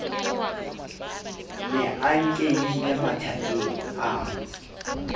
ne a nkehile mathakeng ao